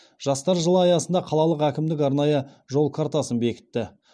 жастар жылы аясында қалалық әкімдік арнайы жол картасын бекітті